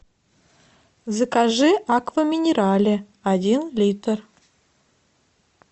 закажи аква минерале один литр